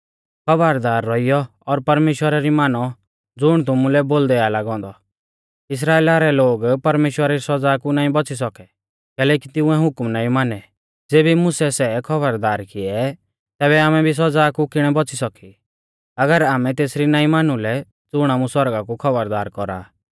खौबरदार रौइऔ और परमेश्‍वरा री मानौ ज़ुण तुमुलै बोलदै आ लागौ औन्दौ इस्राइला रै लोग परमेश्‍वरा री सौज़ा कु नाईं बौच़ी सौकै कैलैकि तिंउऐ हुकम नाईं मानै ज़ेबी मुसै सै खौबरदार किऐ तैबै आमै भी सौज़ा कु किणै बौच़ी सौकी अगर आमै तेसरी नाईं मानु लै ज़ुण आमु सौरगा कु खौबरदार कौरा आ